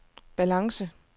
balance